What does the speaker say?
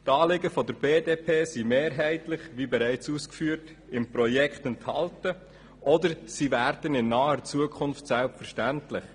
Die Anliegen der BDP sind – wie bereits ausgeführt – im Projekt enthalten oder sie werden in naher Zukunft selbstverständlich.